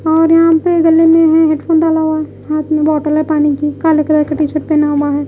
और यहां पे गले में हे हेडफोन डाला हुआ है हाथ में बॉटल है पानी की काले कलर का टी शर्ट पहना हुआ है।